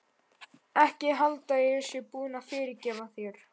Ekki halda að ég sé búin að fyrirgefa þér.